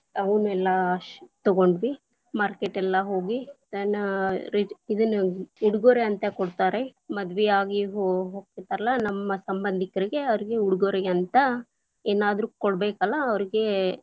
ಅವುನ್ನೆಲ್ಲ ಶ ತಗೊಂಡ್ವಿ market lang:Foreign ಎಲ್ಲಾ ಹೋಗಿ ಆ ಇದನ್ನ ಉಡುಗೊರೆ ಅಂತ ಕೊಡ್ತಾರೆ, ಮದುವೆಯಾಗಿ ಹೋ~ ಹೋಗ್ತಿರ್ತಾರಲ್ಲ ನಮ್ಮ ಸಂಬಂಧಿಕರಿಗೆ ಅವರಿಗೆ ಉಡುಗೊರೆ ಅಂತ ಏನಾದರೂ ಕೊಡಬೇಕಲ್ಲ ಅವ್ರಗೆ.